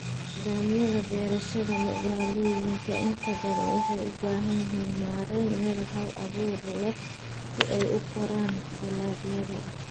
Nidaamyada beerashada magaalooyinka inta badan waxay u baahan yihiin maarayn meel hal abuur leh si ay u koraan dalagyada.